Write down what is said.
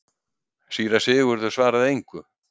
Síra Sigurður svaraði engu.